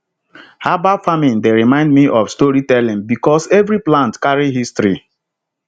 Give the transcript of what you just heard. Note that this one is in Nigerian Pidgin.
herbal farming dey remind me of storytelling because every plant carry history